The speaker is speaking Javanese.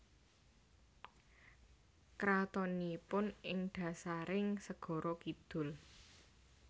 Kratonipun ing dhasaring Segara Kidul